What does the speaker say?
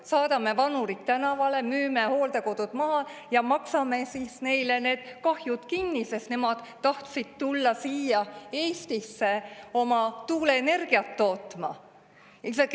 Kas saadame vanurid tänavale, müüme hooldekodud maha ja maksame siis neile need kahjud kinni, sest nemad tahtsid tulla siia Eestisse oma tuuleenergiat tootma?